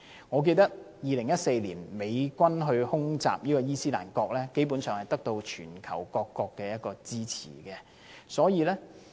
我記得2014年美軍空襲伊斯蘭國，基本上得到全球各國支持。